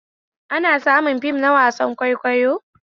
Ana samun fim na wasan kwaikwayo